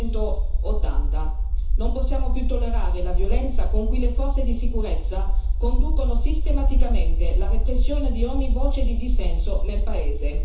1980. Non possiamo più tollerare la violenza con cui le forze di sicurezza conducono sistematicamente la repressione di ogni voce di dissenso nel paese.